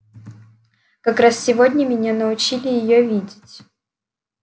как раз сегодня меня научили её видеть